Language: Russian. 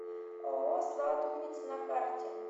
ооо сладуница на карте